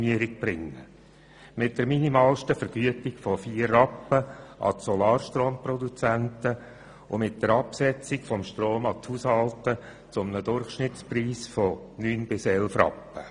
Mit der minimalsten Vergütung von vier Rappen an die Solarstromproduzenten und mit der Absetzung des Stroms an die Haushalte zu einem Durchschnittspreis von neun bis elf Rappen.